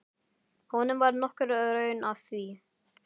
Honum var nokkur raun að því.